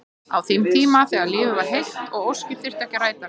Á þeim tíma þegar lífið var heilt og óskir þurftu ekki að rætast.